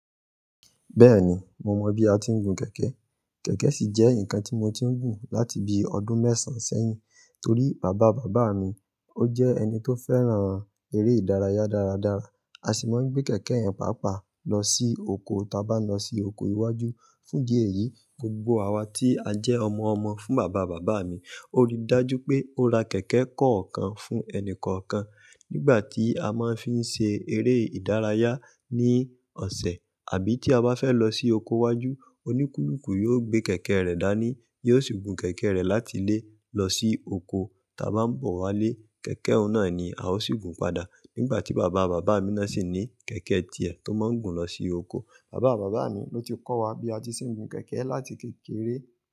Bẹ́ẹ̀ni, mo mọ bí a ti ń gun kẹ̀kẹ́. Kẹ̀kẹ́ sì jẹ́ nǹkan tí mo ti ń gùn láti bí ọdún mẹ́sàn sẹ́yìn torí bàbá bàbá mi ó jẹ́ ẹni tó fẹ́ràn eré ìdárayá dáradára. A sì máa ń gbé kẹ̀kẹ́ yẹn pàápàá lọ sí oko ta bá n lọ sí oko iwájú. Fún di èyí, gbogbo àwa tí a jẹ́ ọmọ ọmọ fún bàbá bàbá mi, ó rí dájú pé ó ra kẹ̀kẹ́ kọ̀ọ̀kan fún ẹnì kọ̀ọ̀kan. Nígbà tí a máa ń fi ń ṣe eré ìdárayá ní ọ̀sẹ̀ àbí tí a bá fẹ́ lọ sí oko iwájú, oníkúlùkù yóò gbé kẹ̀kẹ́ rẹ̀ dání, yóò sì gun kẹ̀kẹ́ rẹ̀ láti ilé lọ sí oko. Ta bá ń bọ̀ wálé, kẹ̀kẹ́ ọun naa ni a ó sì gun padà. Nígbà tí bàbá bàbá mi náà sì ní kẹ̀kẹ́ tiẹ̀ tó máa ń gùn lọ sí oko. Bàbá bàbá mi ló ti kọ́wa bí a ti ń ṣe ń gun kẹ̀kẹ́ láti kékeré.